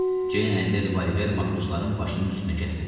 Ceyn əlində revolver matrosların başının üstündə kəsdirmişdi.